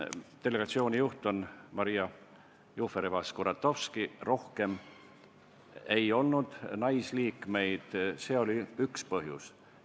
Delegatsiooni juht on Maria Jufereva-Skuratovski, rohkem ei olnud seal naisliikmeid, see oli üks põhjus.